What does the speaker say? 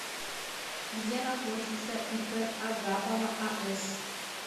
где находится ип агапова ас